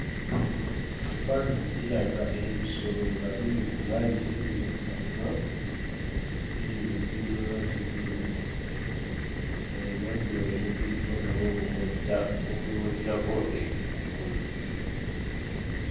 Ekifaananyi kiraga ebisolo nga biri ku mazzi biri mu kinywa biibyo biri mu mazzi binywa eno obunyonyi bubiriko nabwo bubojja bubibojjako enkukunyi.